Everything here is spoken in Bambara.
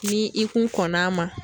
Ni i kun kɔnn'a ma